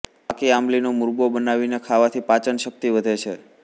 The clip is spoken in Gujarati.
પાકી આમલીનો મુરબ્બો બનાવીને ખાવાથી પાચનશક્તિ વધે છે